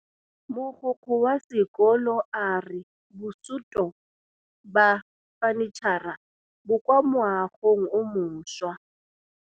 Mogokgo wa sekolo a re bosutô ba fanitšhara bo kwa moagong o mošwa.